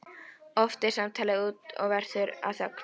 Oft deyr samtalið út og verður að þögn.